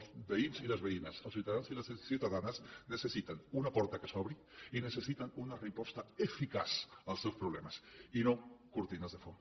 els veïns i les veïnes els ciutadans i les ciutadanes necessiten una porta que s’obri i necessiten una resposta eficaç als seus problemes i no cortines de fum